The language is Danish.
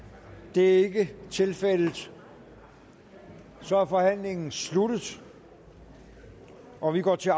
det er ikke tilfældet så er forhandlingen sluttet og vi går til